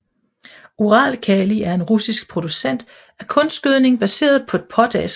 Uralkali er en russisk producent af kunstgødning baseret på potaske